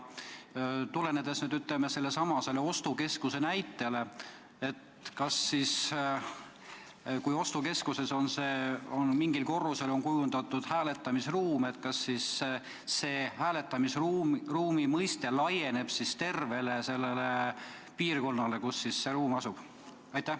Tulles aga nüüd sellesama ostukeskuse näite juurde, siis kas juhul, kui ostukeskuses on mingile korrusele kujundatud hääletamisruum, laieneb hääletamisruumi mõiste tervele sellele piirkonnale, kus see ruum asub?